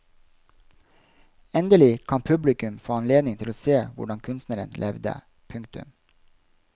Endelig kan publikum få anledning til å se hvordan kunstneren levde. punktum